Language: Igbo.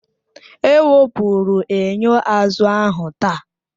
Ewepụrụ enyo azụ ahụ taa